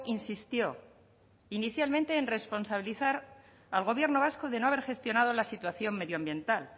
insistió inicialmente en responsabilizar al gobierno vasco de no haber gestionado la situación medioambiental